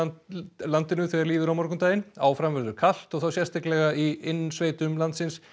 landinu þegar líður á morgundaginn áfram verður kalt og þá sérstaklega í innsveitum landsins